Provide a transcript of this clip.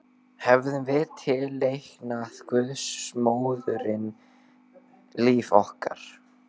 Hefðum við tileinkað guðsmóðurinni líf okkar?